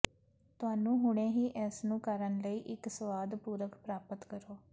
ਤੁਹਾਨੂੰ ਹੁਣੇ ਹੀ ਇਸ ਨੂੰ ਕਰਨ ਲਈ ਇੱਕ ਸਵਾਦ ਪੂਰਕ ਪ੍ਰਾਪਤ ਕਰੋ